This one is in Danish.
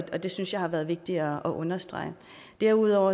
og det synes jeg har været vigtigt at understrege derudover